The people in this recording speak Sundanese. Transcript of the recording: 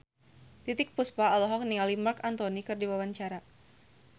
Titiek Puspa olohok ningali Marc Anthony keur diwawancara